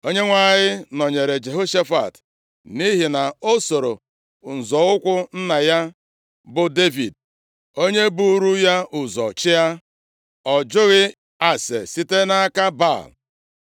Onyenwe anyị nọnyeere Jehoshafat nʼihi na o sooro nzọ ụkwụ nna ya, bụ Devid, onye buuru ya ụzọ chịa. Ọ jụghị ase site nʼaka Baal,